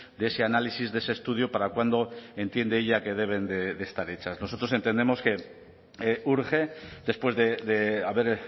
de ese análisis de ese estudio para cuándo entiende ella que deben de estar hechas nosotros entendemos que urge después de haber